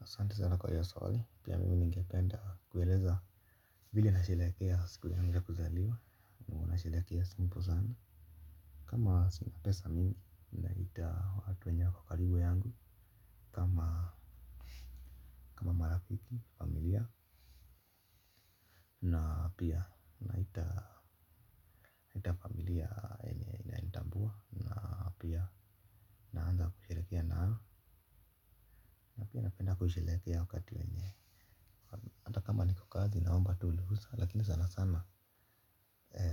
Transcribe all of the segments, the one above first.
Asante sana kwa iyo swali, pia mimi ningependa kueleza vile nasherehekea siku yangu ya kuzaliwa, nasherekea simple sana. Kama sina pesa mingi, naita watu wenye wako karibu yangu. Kama marafiki, familia na pia, naita familia enye inaintambua. Na pia, naanza kusheherekea nao, na pia napenda kusherehekea wakati wenye hata kama niko kazi, naomba tu ruhusa, lakini sana sana.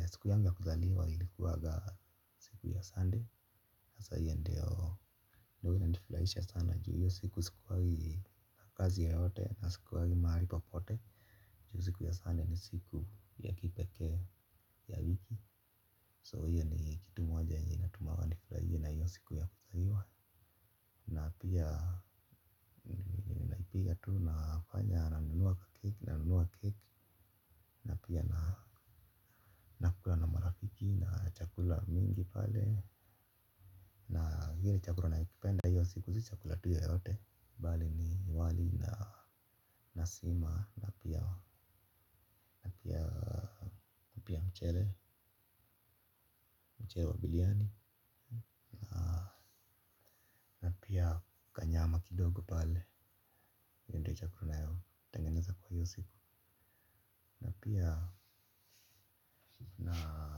Siku yangu ya kuzaliwa ilikuwaga siku ya sunday. Na sa hiyo ndio inanifurahisha sana juu hiyo siku sikuangi. Na kazi yote yote na sikuangi mahali popote. Ju siku ya sunday ni siku ya kipekee ya wiki So iyo ni kitu moja enye inatuma wanifurahie na hiyo siku ya kuzaliwa. Na pia napiga tu nafanya na nunua keki. Na pia na nakula na marafiki na chakula mingi pale na ile chakula naipenda iyo siku si chakula tu yoyote bali ni wali na sima na pia mchele mchele wa biriani. Pia kanyama kidogo pale iyo ndio chakula natengeneza kwa hiyo siku na pia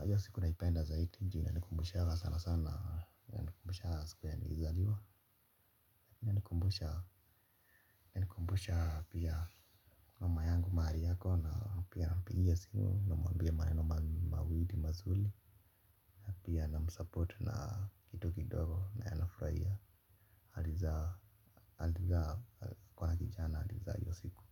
hiyo siku na naipenda zaidi ju inanikumbushanga sana sana inanikumbushanga siku enye nizaliwa inanikumbusha pia mama yangu mahali ako na pia nampigia simu na mwambia maneno mawili mazuri. Pia na msupport na kitu kidogo na yeye anafurahia alizaa kuwa na kijana alizaa iyo siku.